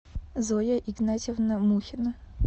зоя игнатьевна мухина